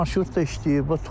Marşrut da işləyir.